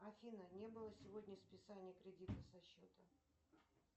афина не было сегодня списания кредита со счета